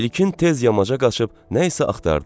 İlkin tez yamaca qaçıb nə isə axtardı.